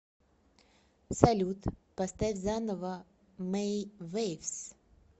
салют поставь заново мэй вэйвс